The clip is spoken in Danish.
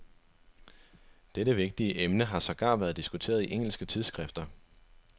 Dette vigtige emne har sågar været diskuteret i engelske tidsskrifter.